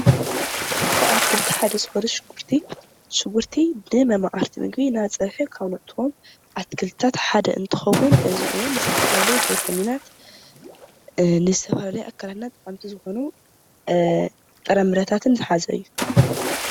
ካብ ኣትክልቲ ሓደ ዝኾነ ሽጉርቲ ሽጉርቲ ንመማቕርቲ ምግቢ ናብ ፀብሒ ካብ ነእትዎ ኣትክልትታት ሓደ እንትኸውን እዚ እውን ንዝተፈላለዩ ንዝተፈላለየ ቪታሚናት ንዝተፈላለየ ኣካላትና ጠቐምቲ ዝኾኑ ጥረ ምረታትን ዝሓዘ እዩ፡፡